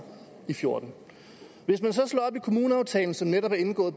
fjorten hvis man så slår op i kommuneaftalen som netop er indgået